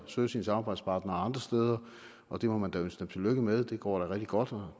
søge sine samarbejdspartnere andre steder og det må man da ønske dem tillykke med det går da rigtig godt og